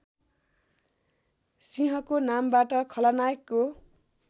सिंहको नामबाट खलनायकको